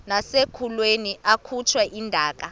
nasekulweni akhutshwe intaka